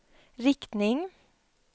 riktning